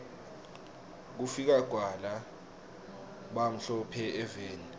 kufika kwala bamhlo phe eveni